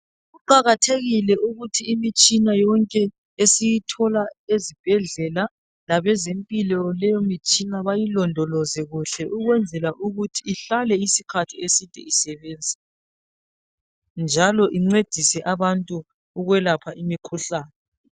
Kuqakathekile ukuthi imitshina yonke esiyithola ezibhedlela labezempilo, leyo mitshina bayilondoloze kuhle ukwenzela ukuthi ihlale isikhathi eside isebenza, njalo incedise abantu ukwelapha imikhuhlane.